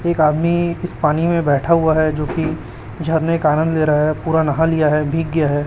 एक आदमी पानी में बैठा हुआ है जो की झरने का आनंद ले रहा है पूरा नहा लिया है भीग गया है।